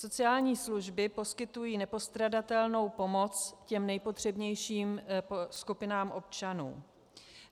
Sociální služby poskytují nepostradatelnou pomoc těm nejpotřebnějším skupinám občanů.